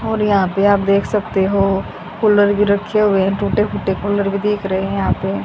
और यहां पे आप देख सकते हो कूलर भी रखे है हुए टूटे फूटे कूलर भी दिख रहे हैं यहां पे।